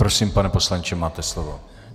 Prosím, pane poslanče, máte slovo.